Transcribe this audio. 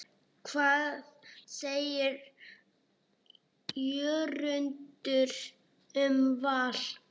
Hvað segir Jörundur um Val?